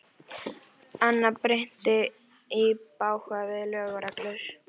Annað bryti í bága við lög og reglur.